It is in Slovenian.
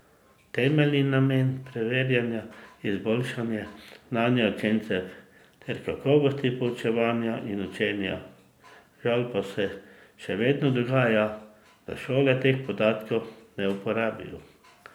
Temeljni namen preverjanja je izboljšanje znanja učencev ter kakovosti poučevanja in učenja, žal pa se še vedno dogaja, da šole teh podatkov ne uporabijo.